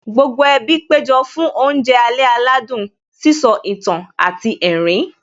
Gbogbo ẹbí péjọ fún oúnjẹ alẹ́ aládùn, sísọ ìtàn àti ẹ̀rín